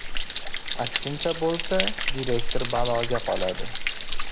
Aksincha bo‘lsa direktor baloga qoladi.